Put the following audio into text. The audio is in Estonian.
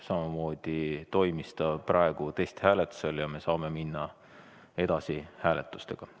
Samamoodi toimis ta praegu testhääletusel ja me saame hääletustega edasi minna.